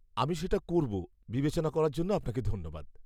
আমি সেটা করব, বিবেচনা করার জন্য আপনাকে ধন্যবাদ!